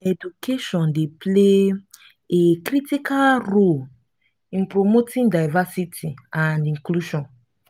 education dey play a critical role in promoting diversity and inclusion.